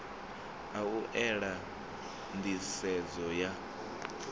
a u ela nḓisedzo ya